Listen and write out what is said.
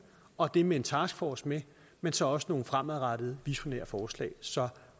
og det med en task force med men så også nogle fremadrettede visionære forslag så